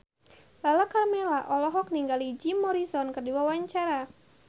Lala Karmela olohok ningali Jim Morrison keur diwawancara